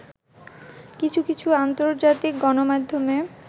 কিছু কিছু আন্তর্জাতিক গণমাধ্যমে